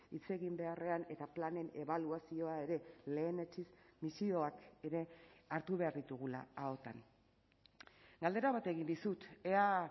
hitz egin beharrean eta planen ebaluazioa ere lehenetsiz misioak ere hartu behar ditugula ahotan galdera bat egin dizut ea